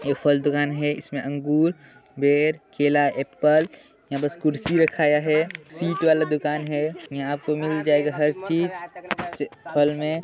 ए फल दूकान है इसमे अंगूर बेर केला एप्पल यहाँ पास कुर्सी रखाया है सीट वाला दुकान है यहाँ आपको मिल जायेगा हर चीज इस फल मे --